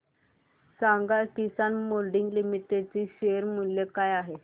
सांगा Kisan moulding limited चे share मूल्य काय आहे